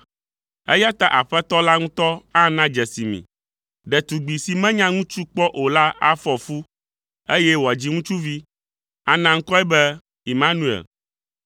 Eya ta Aƒetɔ la ŋutɔ ana dzesi mi. Ɖetugbi si menya ŋutsu kpɔ o la afɔ fu, eye wòadzi ŋutsuvi, ana ŋkɔe be Imanuel.